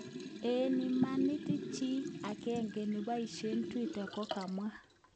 En imanit, chi agenge neboishen Twitter kokamwa.